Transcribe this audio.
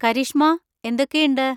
കരീഷ്മാ, എന്തൊക്കെയുണ്ട്?